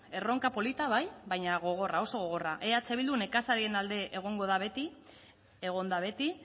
erronka polita bai baina gogorra oso gogorra eh bildu nekazarien alde egongo da beti egon da beti